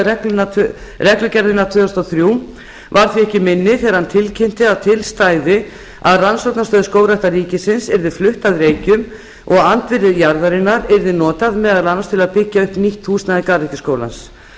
reglugerðina tvö þúsund og þrjú var því ekki minni þegar hann tilkynnti að til stæði að rannsóknarstöð skógræktar ríkisins yrði flutt að reykjum og andvirði jarðarinnar yrði notað meðal annars til að byggja upp nýtt húsnæði garðyrkjuskólans